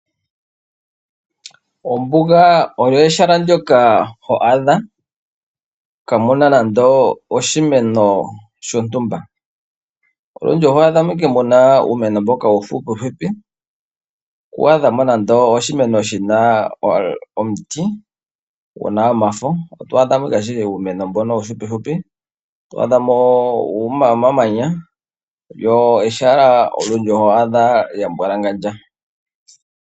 Ombuga oyo ehala ndjoka ho adha kaa muna nande oshimeno shontumba. Olundji oho adha mo ike muna uumeno mboka uuhuhupi. Ku adhamo nande oshimeno shina omuti guna omafo. Oto adha mo ngaa ashike uumeno mbono uuhupihupi. Otwa adha mo omamanya lyo ehala olyo ndjo oha adha lya mbwalangandja.